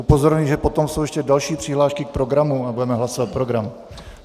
Upozorňuji, že potom jsou ještě další přihlášky k programu a budeme hlasovat program.